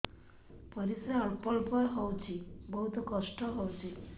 ପରିଶ୍ରା ଅଳ୍ପ ଅଳ୍ପ ହଉଚି ବହୁତ କଷ୍ଟ ହଉଚି